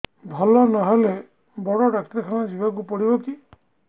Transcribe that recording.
ଭଲ ନହେଲେ ବଡ ଡାକ୍ତର ଖାନା ଯିବା କୁ ପଡିବକି